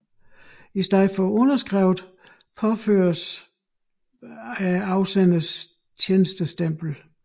I stedet for underskrift påføres afsenderens tjenestestempel